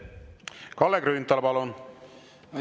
Kalle Grünthal, palun!